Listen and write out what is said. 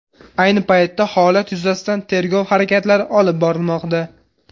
Ayni paytda holat yuzasidan tergov harakatlari olib borilmoqda.